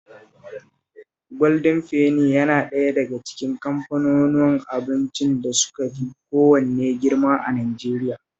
Gwaldin Feni yana ɗaya daga cikin kamfanunuwan abincin da suka fi kowanne girma a Najeriya